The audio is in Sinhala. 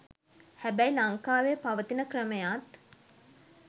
හැබැයි ලංකාවේ පවතින ක්‍රමයත්